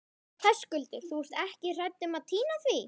Höskuldur: Þú ert ekki hrædd um að týna því?